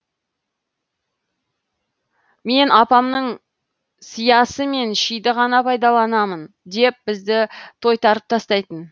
мен апамның сиясы мен шиді ғана пайдаланамым деп бізді тойтарып тастайтын